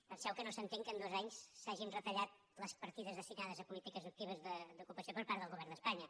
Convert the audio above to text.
penseu que no s’entén que en dos anys s’hagin retallat les partides destinades a polítiques actives d’ocupació per part del govern d’espanya